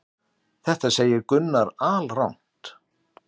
Þetta segir Gunnar alrangt.